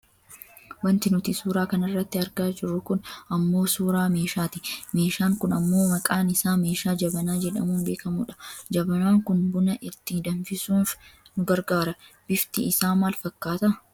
Wanti nuti suuraa kanarratti argaa jirru kun ammoo suuraa meeshaati. Meeshaan kun ammoo maqaan isaa Meeshaa jabanaa jedhamuun beekkamudha. Jabanaan kun buna itti danfisuuf nu gargaara. Bifti isaa maal fakkaata?